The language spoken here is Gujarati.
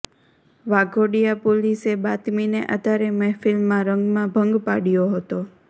વાઘોડિયા પોલીસે બાતમીને આધારે મહેફિલમાં રંગમા ભંગ પાડ્યો હતો